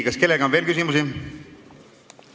Kas kellelgi on veel küsimusi?